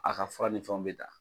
A ka fura ni fɛnw bɛ taa.